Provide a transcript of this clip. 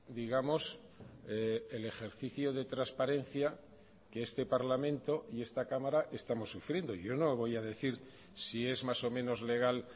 digamos el ejercicio de transparencia que este parlamento y esta cámara estamos sufriendo yo no voy a decir si es más o menos legal